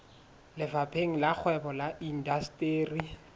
lefapheng la kgwebo le indasteri